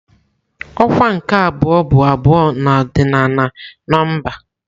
Ọkwa nke abụọ bụ abụọ na ọrdịnal nọmba.